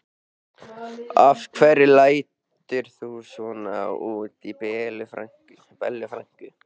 Af hverju lætur þú svona út í Bellu frænku?